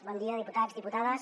bon dia diputats diputades